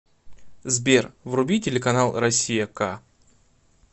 сбер вруби телеканал россия к